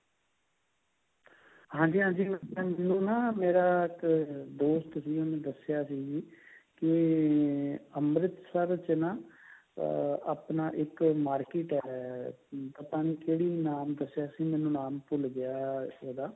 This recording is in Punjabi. ਹਾਂਜੀ ਹਾਂਜੀ ਮੇਰਾ ਇੱਕ ਦੋਸਤ ਸੀ ਉਹਨੇ ਦੱਸਿਆ ਸੀ ਕੇ ਅੰਮ੍ਰਿਤਸਰ ਵਿੱਚ ਨਾ ਅਹ ਆਪਣਾ ਇੱਕ market ਹੈ ਪਤਾ ਨਹੀਂ ਅਹ ਕਿਹੜਾ ਨਾਮ ਦੱਸਿਆ ਸੀ ਮੈਨੂੰ ਨਾਮ ਭੁੱਲ ਗਿਆ ਇਹਦਾ